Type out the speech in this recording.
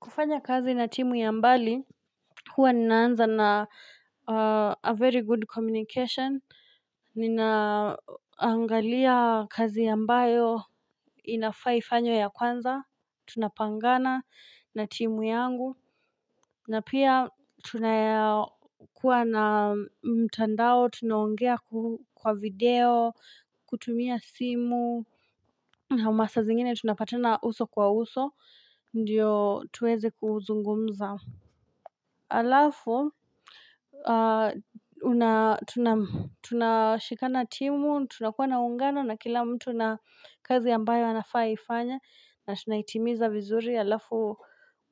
Kufanya kazi na timu ya mbali, huwa ninaanza na a very good communication, ninaangalia kazi ambayo inafaa ifanywe ya kwanza, tunapangana na timu yangu, na pia tunakua na mtandao, tunaongea kwa video, kutumia simu, na masaa zingine tunapatana uso kwa uso, ndio tuweze kuzungumza. Alafu Tunashikana timu tunakuwa na uungano na kila mtu na kazi ambayo anafaa aifanye na tunaitimiza vizuri alafu